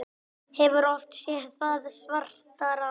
Hefur oft séð það svartara